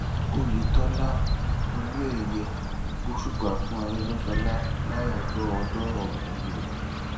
oyetola owóẹyẹ gbósùbà fún arègbéṣọlá láyàájọ ọjọòbí rẹ